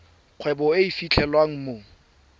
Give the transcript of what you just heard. kgwebo e e fitlhelwang mo